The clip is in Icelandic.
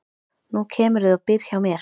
Nú kemurðu og býrð hjá mér